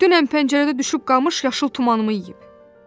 Dünən pəncərədə düşüb qamış yaşıl tumanımı yeyib."